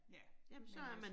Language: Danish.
Ja, men øh